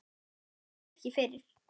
Þér bregður hvergi fyrir.